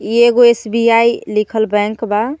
इ एगो एस_बी_आई लिखल बैंक बा.